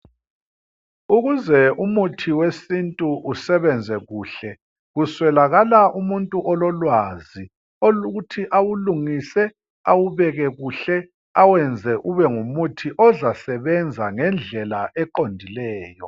Ukuze umuthi wesintu usebenze kuhle kuswelakala umuntu ololwazi olokuthi awulungise, awubeke kuhle awenze ube ngumuthi ozasebenza ngendlela eqondileyo.